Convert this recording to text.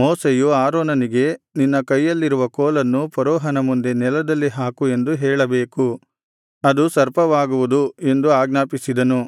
ಮೋಶೆಯು ಆರೋನನಿಗೆ ನಿನ್ನ ಕೈಯಲ್ಲಿರುವ ಕೋಲನ್ನು ಫರೋಹನ ಮುಂದೆ ನೆಲದಲ್ಲಿ ಹಾಕು ಎಂದು ಹೇಳಬೇಕು ಅದು ಸರ್ಪವಾಗುವುದು ಎಂದು ಆಜ್ಞಾಪಿಸಿದನು